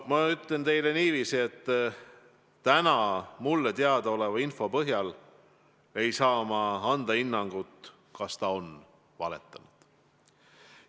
Ma ütlen teile niiviisi, et täna mulle teadaoleva info põhjal ei saa ma anda hinnangut, kas ta on valetanud.